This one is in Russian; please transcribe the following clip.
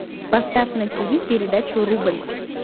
поставь на тв передачу рубль